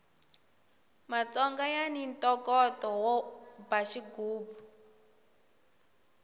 matsonga yani ntokoto wo ba xigubu